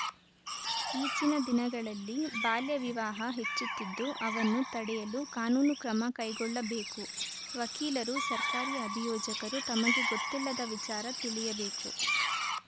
ಈಚಿನ ದಿನಗಳಲ್ಲಿ ಬಾಲ್ಯ ವಿವಾಹ ಹೆಚ್ಚುತ್ತಿದ್ದು ಅವನ್ನು ತಡೆಯಲು ಕಾನೂನು ಕ್ರಮ ಕೈಗೊಳ್ಳಬೇಕು ವಕೀಲರು ಸರ್ಕಾರಿ ಅಭಿಯೋಜಕರು ತಮಗೆ ಗೊತ್ತಿಲ್ಲದ ವಿಚಾರ ತಿಳಿಯಬೇಕು